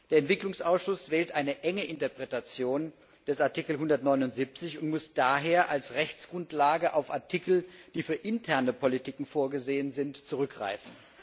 Der Entwicklungsausschuss wählt eine enge Interpretation des Artikels 179 und muss daher als Rechtsgrundlage auf Artikel, die für interne Politiken vorgesehen sind, zurückgreifen.